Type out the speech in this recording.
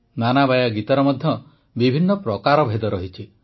ନାନାବାୟା ଗୀତର ମଧ୍ୟ ବିଭିନ୍ନ ପ୍ରକାର ଅଛି